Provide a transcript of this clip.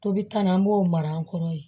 Tobi kan na an b'o mara an kɔrɔ yen